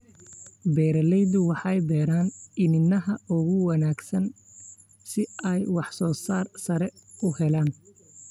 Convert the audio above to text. Beeraleydu waxay beeraan iniinaha ugu wanaagsan si ay waxsoosaar sare u helaan.